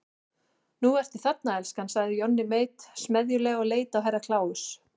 Nú ertu þarna elskan, sagði Johnny Mate smeðjulega og leit á Herra Kláus.